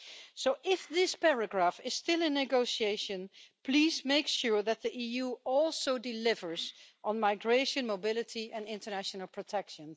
So, if this paragraph is still in negotiation, please make sure that the EU also delivers on migration, mobility and international protection.